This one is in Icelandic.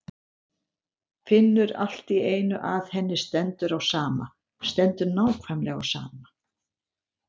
Finnur allt í einu að henni stendur á sama, stendur nákvæmlega á sama.